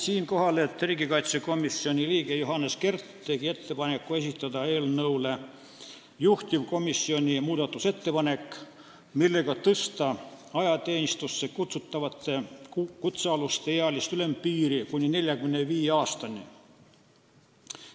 Siinkohal märgin, et riigikaitsekomisoni liige Johannes Kert tegi ettepaneku esitada eelnõu kohta juhtivkomisjoni muudatusettepanek, millega tõsta ajateenistusse kutsutavate kutsealuste ealist ülempiiri kuni 45 aastani.